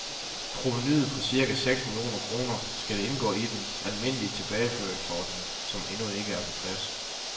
Provenuet på cirka seks millioner kroner skal indgå i den almindelige tilbageførselsordning, som endnu ikke er på plads.